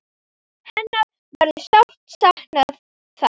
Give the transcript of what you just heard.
Hennar verður sárt saknað þar.